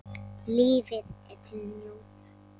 Lífið er til að njóta.